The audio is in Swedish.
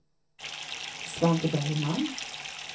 Svante Bergman